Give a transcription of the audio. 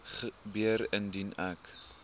gebeur indien ek